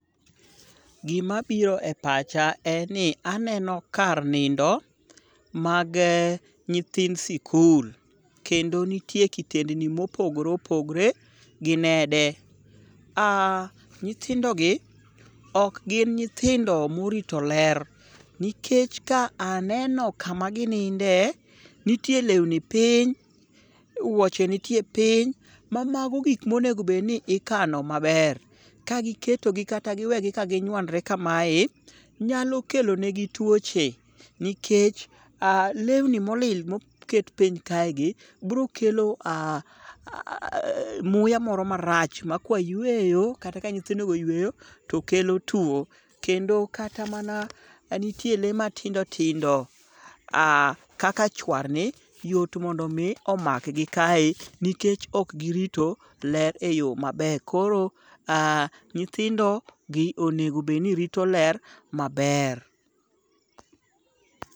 Gimabiro e pacha en ni aneno kar nindo magee nyithind sikul, kendo nitie kitendi mopogore opogore gi nede. Nyithindogi ok gin nyithindo morito ler, nikech ka aneno kama gininde, nitie lewni piny, wuoche nitie piny, ma mago gik monego bedni ikano maber. Kagiketogi kata giwegi kaginywandre kamae, nyalo kelo negi tuoche nikech lewni molil moket piny kaegi biro kelo muya moro marach makwa yweyo kata ka nyithindogo oyweyo, to kelo tuwo. Kendo kata mana ,nitie lee matindo tindo kaka chwarni, yot mondo omi omakgi kae nikech ok girito ler e yo maber. Koro, nyithindogi onego bedni rito ler maber.